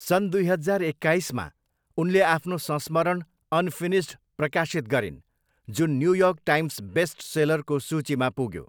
सन् दुई हजार एक्काइसमा, उनले आफ्नो संस्मरण अनफिनिस्ड प्रकाशित गरिन्, जुन न्युयोर्क टाइम्स बेस्ट सेलरको सूचीमा पुग्यो।